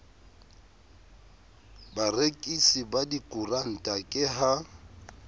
barekisi ba dikoranta ke ha